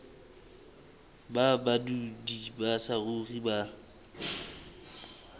ba badudi ba saruri ba